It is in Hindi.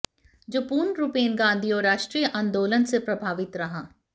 जो पूर्ण रूपेण गांधी और राष्ट्रीय आंदोलन से प्रभावित रहा